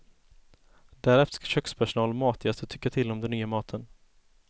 Därefter ska kökspersonal och matgäster tycka till om den nya maten.